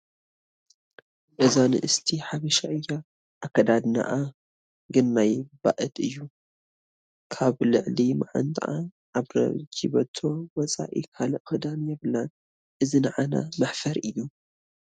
እዛ ንእስቲ ሓበሻ እያ፡፡ ኣከዳድንኣ ግን ናይ ባእድ እዩ፡፡ ካብ ልዕሊ መዓንጥኣ ካብ ረጂበቶ ወፃኢ ካልእ ክዳን የብላን፡፡ እዚ ንዓና መሕፈሪ እዩ፡፡